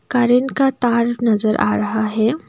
Current का तार नजर आ रहा है।